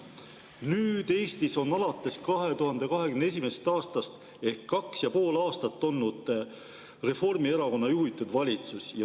Nüüd, Eestis on alates 2021. aastast ehk 2,5 aastat olnud Reformierakonna juhitud valitsus.